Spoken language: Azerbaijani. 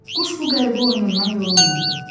Quş bu qəribə oyunundan yorulmurdu.